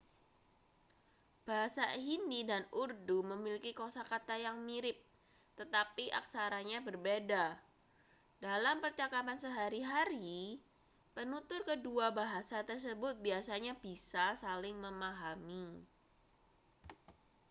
bahasa hindi dan urdu memiliki kosakata yang mirip tetapi aksaranya berbeda dalam percakapan sehari-hari penutur kedua bahasa tersebut biasanya bisa saling memahami